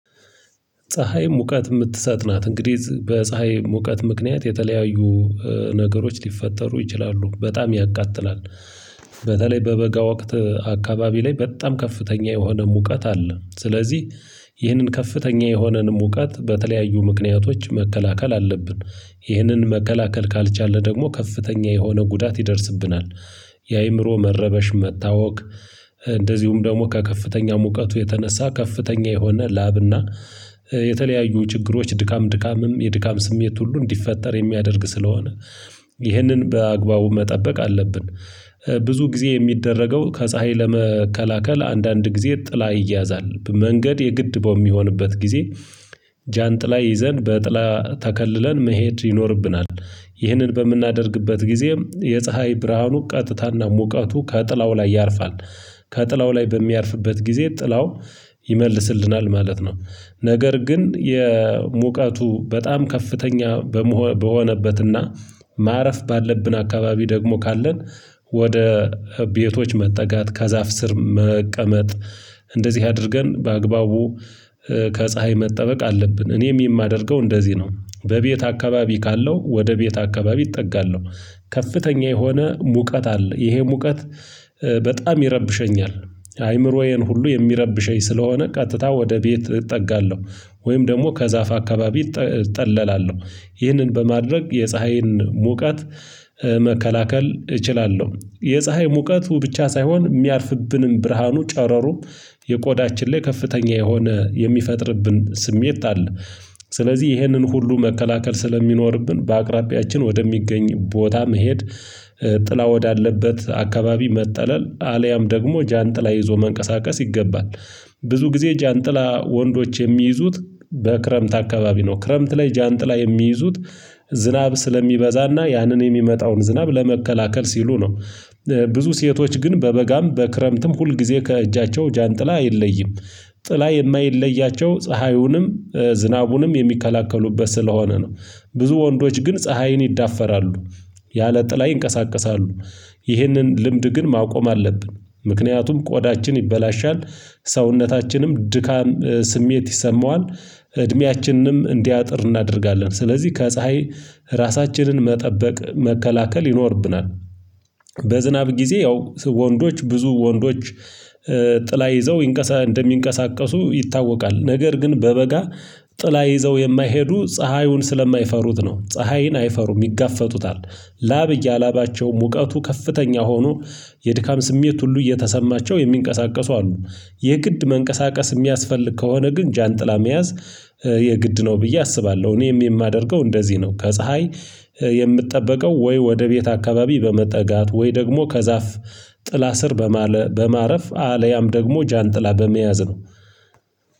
ፀሀይ ሙቀት የምትሰጥ ናት። እንግዲህ በፀሀይ ሙቀት ምክንያት የተለያዩ ነገሮች ሊፈጠሩ ይችላሉ በጣም ያቃጥላል። በተለይ በበጋ ወቅት አካባቢ ላይ በጣም ከፍተኛ የሆነ ሙቀት አለ። ስለዚህ ይህንን ከፍተኛ የሆነን ሙቀት በተለያዩ ምክንያቶች መከላከል አለብን። ይህንን መከላከል ካልቻልን ደግሞ ከፍተኛ የሆነ ጉዳት ይደርስብናል። የአእምሮ መረበሽ መታወክ። እንደዚሁም ደግሞ ከከፍተኛ ሙቀት የተነሳ ከፍተኛ የሆነ ላብና የተለያዩ ችግሮች ድካም ድካምም የድካም ስሜት ሁሉ እንዲፈጠር የሚያደርግ ስለሆነ። ይህንን በአግባቡ መጠበቅ አለብን። ብዙ ጊዜ የሚደረገው ከፀሀይ ለመከላከል አንዳንድ ጊዜ ጥላ ይያዛል መንገድ የግድ በሚሆንበት ጊዜ ጃንጥላ ይዘን በጥላ ተከልለን መሄድ ይኖርብናል። ይህንን በምናደርግበት ጊዜም የፀሀይ ብርሃኑ ቀጥታና ሙቀቱ ከጥላው ላይ ያርፋል። ከጥላው ላይ በሚያርፍበት ጊዜ ጥላው ይመልስልናል ማለት ነው። ነገር ግን የሙቀቱ በጣም ከፍተኛ በሆነበትና ማረፍ ባለብን አካባቢ ደግሞ ካለን ወደ ቤቶች መጠጋት ከዛፍ ስር መቀመጥ። እንደዚህ አድርገን በአግባቡ ከፀሀይ መጠበቅ አለብን። እኔም የማደርገው እንደዚህ ነው በቤት አከባቢ ካለሁ ወደ ቤት አከባቢ እጠጋለሁ። ከፍተኛ የሆነ ሙቀት አለ ይሄ ሙቀት በጣም ይረብሸኛል። አይምሮዬን ሁሉ የሚረብሸኝ ስለሆነ ቀጥታ ወደ ቤት እጠጋለሁ። ወይም ደግሞ ከዛፍ አከባቢ እጠለላለሁ። ይህንን በማድረግ የፀሀይን ሙቀት መከላከል እችላለሁ። የፀሀይ ሙቀቱ ብቻ ሳይሆን የሚያልፍብንም ብርሃኑ ጨረሩም ቆዳችን ላይ ከፍተኛ የሆነ የሚፈጥርብን ስሜት አለ። ስለዚህ ይህንን ሁሉ መከላከል ስለሚኖርብን በአቅራቢያችን ወደሚገኝ ቦታ መሄድ ጥላ ወዳለበት አከባቢ መጠለል አልያም ደግሞ ጃንጥላ ይዞ መንቀሳቀስ ይገባል። ብዙ ጊዜ ጃንጥላ ወንዶች የሚይዙት በክረምት አከባቢ ነው። ክረምት ላይ ጃንጥላ የሚይዙት ዝናብ ስለሚበዛና ያንን የሚመጣውን ዝናብ ለመከላከል ሲሉ ነው። ብዙ ሴቶች ግን በበጋም በክረምትም ሁልጊዜ ከእጃቸው ጃንጥላ አይለይም። ጥላ የማይለያቸው ፀሀዩንም ዝናቡንም የሚከላከሉበት ስለሆነ ነው። ብዙ ወንዶች ግን ፀሀይን ይዳፈራሉ ያለ ጥላ ይንቀሳቀሳሉ። ይህንን ልምድ ግን ማቆም አለብን። ምክንያቱም ቆዳችን ይበላሻል። ሰውነታችንም ድካም ስሜት ይሰማዋል። እድሜያችንንም እንዲያጥር እናደርጋለን ስለዚህ ከፀሀይ ራሳችንን መጠበቅ መከላከል ይኖርብናል። በዝናብ ጊዜ ያው ወንዶች ብዙ ወንዶች ጥላ ይዘው እንደሚንቀሳቀሱ ይታወቃል። ነገር ግን በበጋ ጥላ ይዘው የማይሄዱ ፀሀዩን ስለማይፈሩት ነው ፀሀይን አይፈሩም ይጋፈጡታል። ላብ እያላባቸው ሙቀቱ ከፍተኛ ሆኖ የድካም ስሜት ሁሉ እየተሰማቸው የሚንቀሳቀሱ አሉ። የግድ መንቀሳቀስ የሚያስፈልግ ከሆነ ግን ጃንጥላ መያዝ የግድ ነው ብዬ አስባለሁ። እኔም የማደርገው እንደዚህ ነው። ከፀሀይ የምጠበቀው ወይ ወደ ቤት አከባቢ በመጠጋት ወይ ደግሞ ከዛፍ ጥላ ስር በማረፍ አልያም ደግሞ ጃንጥላ በመያዝ ነው